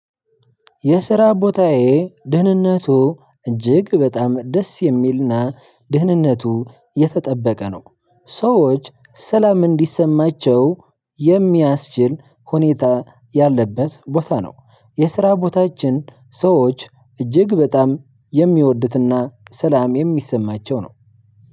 የስራ ቦታዬ ደህንነቱ እጅግ በጣም ደስ የሚልና ደህንነቱ የተጠበቀ ነው። ሰዎች ሰላም እንዲሰማቸው የሚያስችል ሁኔታ ያለበት ቦታ ነው። የስራ ቦታችን ሰዎች እጅግ በጣም የሚወዱት እና ሰላም የሚሰማቸው ነው።